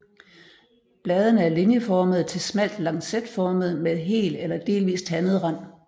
Bladene er linjeformede til smalt lancetformede med hel eller delvist tandet rand